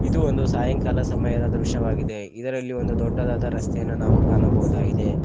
ಇದು ಒಂದು ಸಾಯಂಕಾಲ ಸಮಯದ ದೃಶ್ಯವಾಗಿದೆ ಇದರಲ್ಲಿ ಒಂದು ದೊಡ್ಡದಾದ ರಸ್ತೆಯನ್ನು ನಾವು ಕಾಣಬಹುದಾಗಿದೆ.